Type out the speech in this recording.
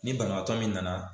Ni banabaatɔ min nana.